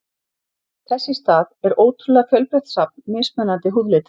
Þess í stað er ótrúlega fjölbreytt safn mismunandi húðlita.